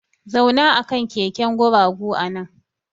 Zauna akan keken guragu nan!